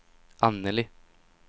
Annelie